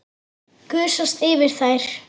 Gusast yfir þær.